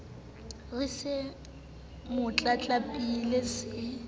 re se mo tlatlapile se